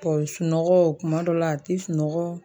Bɔn sunɔgɔ kuma dɔw la a te sunɔgɔ